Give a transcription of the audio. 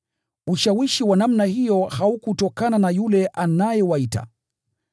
Ushawishi wa namna hiyo haukutokana na yule anayewaita.